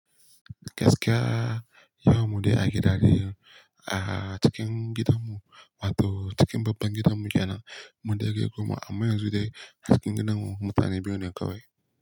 Gaskiya yawan mude a gida ne a cikin gidanmu ma to cikin babban gidanmu yana mude kai goma amma yanzu dai a cikin gidanmu mutane biyu ne kawai.